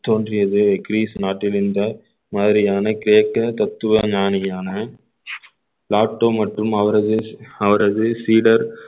தோன்றியது கிரீஸ் நாட்டில் இந்த மாதிரியான கிரேக்க தத்துவ ஞானியான மற்றும் அவரது அவரது சீடர்